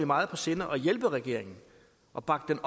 meget på sinde at hjælpe regeringen og bakke